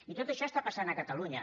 i tot això passa a catalunya